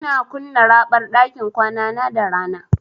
Ina kunna raɓar ɗakin kwanana da rana.